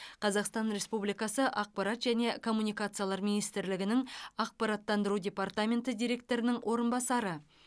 қазақстан республикасы ақпарат және коммуникациялар министрлігінің ақпараттандыру департаменті директорының орынбасары